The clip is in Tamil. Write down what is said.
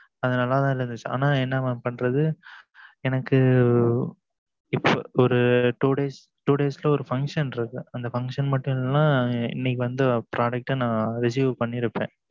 அது நல்லா தான் இருந்தது ஆனா என்ன mam பண்ணுறது எனக்கு இப்ப ஒரு two days ஒரு function இருக்கு அந்த function இல்லனா இன்னைக்கு வந்த product receive பண்ணி இருப்பன்